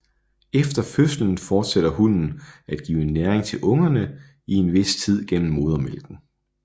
Efter fødslen fortsætter hunnen at give næring til ungerne i en vis tid gennem modermælken